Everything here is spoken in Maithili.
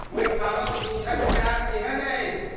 ओहिठामक दूधक चाह केहन अछि?